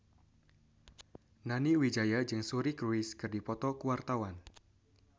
Nani Wijaya jeung Suri Cruise keur dipoto ku wartawan